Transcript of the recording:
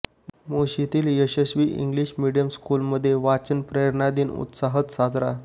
मोशीतील यशस्वी English medium स्कूलमध्ये वाचन प्रेरणा दिन उत्साहात साजरा